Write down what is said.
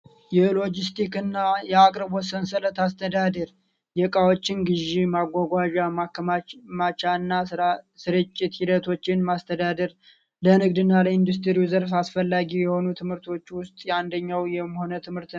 የሎጂስቲክስ እና የአቅርቦት ሰንሰለት አስተዳደር የእቃዎችን ግዢ ፣ማጓጓዣ ፣ማከማቻ እና ስርጭት ሂደቶችን ማስተዳደር ለንግድ እና ኢንዱስትሪው አስፈላጊ የሆኑ ምርቶች ውስጥ አንደኛው የመያ ትምህርት ነው።